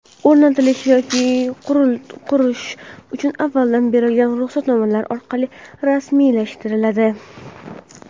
o‘rnatish yoki qurish uchun avvaldan berilgan ruxsatnomalar orqali rasmiylashtiriladi.